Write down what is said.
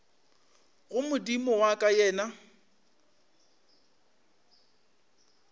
go modimo wa ka yena